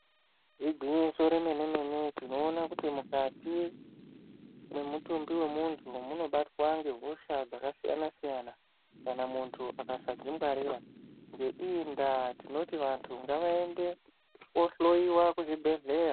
Ingwinyiso remenemene tinoona kuti mukati mwemutumbi mwemuntu munobatwa nehosha dzakasiyana siyana kana muntu akasadzingwarira ngeiyi nda tinoti vantu ngavaende kohloyiwa kuchibhedhleya.